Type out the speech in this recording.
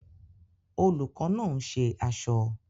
Olùkọ́ náà ń ṣe aṣọ